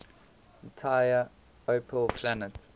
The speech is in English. entire opel plant